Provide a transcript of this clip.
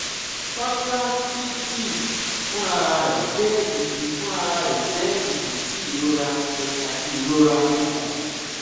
pancreatitis funrararẹ jẹ idi funrararẹ jẹ idi ti irora ẹhin ati irora ikun